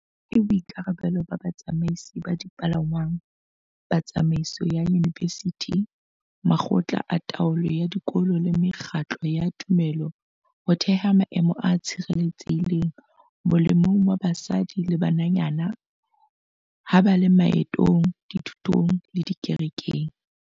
Ke boikarabelo ba batsamaisi ba dipalangwang, ba tsamaiso ya diyunivesithi, makgotla a taolo ya dikolo le mekgatlo ya tumelo ho theha maemo a tshireletsehileng molemong wa basadi le bananyana ha ba le maetong, dithutong le dikerekeng.